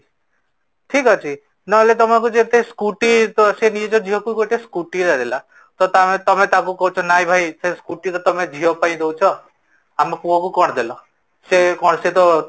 ଠିକ ଅଛି ନହେଲେ ତମକୁ ଯେତେ Scooty ତ ସେ ନିଜ ଝିଅକୁ ଗୋଟେ Scooty ଟେ ଦେଲା ତ ତମେ ତାକୁ କହୁଚ ନାହିଁ ଭାଇ ସେ Scooty ତ ତମେ ଝିଅ ପାଇଁ ଦୋଉଛ, ଆମ ପୁଅକୁ କଣ ଦେଲା ସେ କ'ଣ ସେତ